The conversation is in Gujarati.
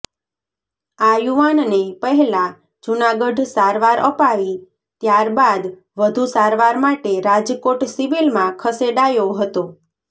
આ યુવાનને પહેલા જુનાગઢ સારવાર અપાવી ત્યાર બાદ વધુ સારવાર માટે રાજકોટ સિવિલમાં ખસેડાયો હતો